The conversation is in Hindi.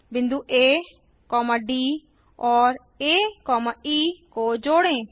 बिंदु आ डी और आ ई को जोड़ें